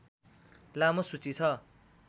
लामो सूची छ